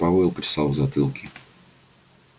пауэлл почесал в затылке